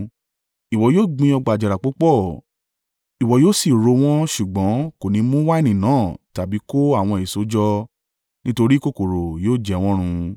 Ìwọ yóò gbin ọgbà àjàrà púpọ̀ ìwọ yóò sì ro wọ́n ṣùgbọ́n kò ní mú wáìnì náà tàbí kó àwọn èso jọ, nítorí kòkòrò yóò jẹ wọ́n run.